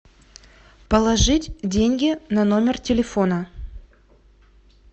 положить деньги на номер телефона